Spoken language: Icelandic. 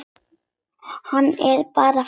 Hann er bara fúll.